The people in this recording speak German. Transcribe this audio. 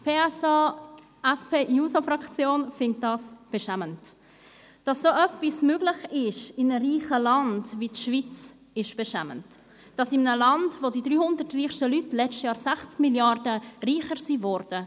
Die SP-JUSO-PSA-Fraktion findet es beschämend, dass so etwas in einem reichen Land wie die Schweiz möglich ist, in einem Land, in dem die 300 reichsten Leute im letzten Jahr um 60 Mrd. Franken reicher wurden.